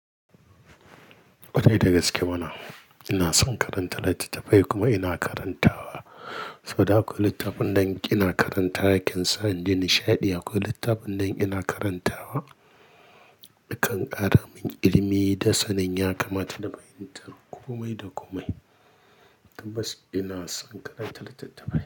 Kwarai da gaske mana ina son karantar littattafai kuma ina karantawa. Saboda haka akwai littafin da in ina karantawa, yakan sa in ji nishaɗi. Akwai littafin da in ina karantawa, yakan ƙaramin ilimi da sanin ya kamata da fahintar ƙomai da komai. Tabbas ina son karanta littattafai.